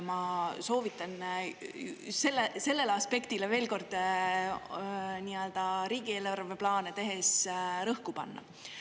Ma soovitan sellele aspektile veel kord nii-öelda riigieelarveplaane tehes rõhku panna.